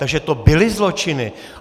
Takže to byly zločiny.